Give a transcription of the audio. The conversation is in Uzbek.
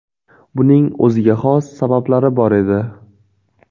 Buning o‘ziga xos sabablari bor edi.